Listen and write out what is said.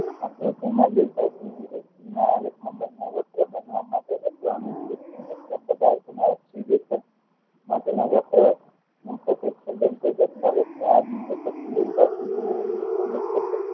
આ પ્રશ્ન માં જુના આલેખ માં માં બન્ને પદાર્થ ના લેખન માટે નાં વત્ર મૂળ અવલોકન એ